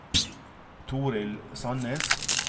Torill Sannes